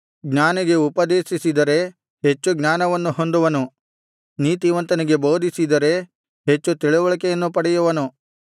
ಜ್ಞಾನಿಗೆ ಉಪದೇಶಿಸಿದರೆ ಹೆಚ್ಚು ಜ್ಞಾನವನ್ನು ಹೊಂದುವನು ನೀತಿವಂತನಿಗೆ ಬೋಧಿಸಿದರೆ ಹೆಚ್ಚು ತಿಳಿವಳಿಕೆಯನ್ನು ಪಡೆಯುವನು